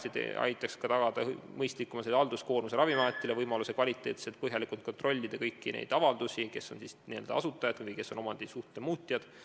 See aitaks tagada ka Ravimiameti mõistlikumat halduskoormust, annaks võimaluse kõiki avaldusi kvaliteetselt ja põhjalikult kontrollida, et kes on siis n-ö asutajad ja kes on omandisuhte muutjad.